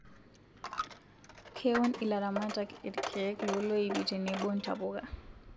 Keun ilaramatak irkeek loloipii tenebo ntapuka